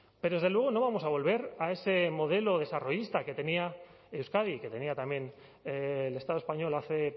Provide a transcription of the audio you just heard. pero desde luego no vamos a volver a ese modelo desarrollista que tenía euskadi que tenía también el estado español hace